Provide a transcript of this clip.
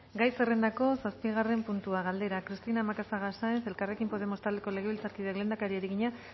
gai zerrendako zazpigarren puntua galdera cristina macazaga saenz elkarrekin podemos taldeko legebiltzarkideak lehendakari egina